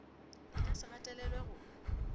e ka se gatelelwe go